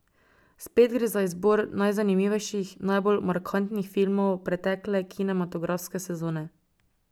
Spet gre za izbor najzanimivejših, najbolj markantnih filmov pretekle kinematografske sezone.